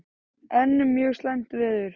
Enn mjög slæmt veður